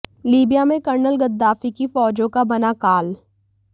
Libya में colonel Gaddafi की फौजों का बना काल